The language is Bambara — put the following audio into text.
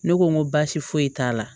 Ne ko n ko baasi foyi t'a la